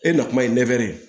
E na kuma ye